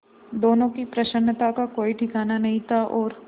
दोनों की प्रसन्नता का कोई ठिकाना नहीं था और